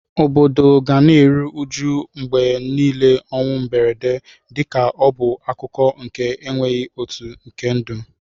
Obodo ga na-eru uju mgbe niile ọnwụ mberede, dịka ọ bụ akụkụ nke enweghị atụ nke ndụ.